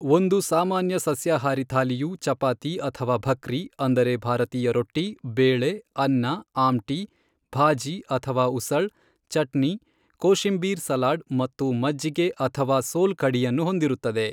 ಒಂದು ಸಾಮಾನ್ಯ ಸಸ್ಯಾಹಾರಿ ಥಾಲಿಯು ಚಪಾತಿ ಅಥವಾ ಭಕ್ರಿ ಅಂದರೆ ಭಾರತೀಯ ರೊಟ್ಟಿ, ಬೇಳೆ, ಅನ್ನ, ಆಮ್ಟಿ, ಭಾಜಿ ಅಥವಾ ಉಸಳ್, ಚಟ್ನಿ, ಕೋಶಿಮ್ಬೀರ್ ಸಲಾಡ್ ಮತ್ತು ಮಜ್ಜಿಗೆ ಅಥವಾ ಸೋಲ್ ಕಢಿಯನ್ನು ಹೊಂದಿರುತ್ತದೆ.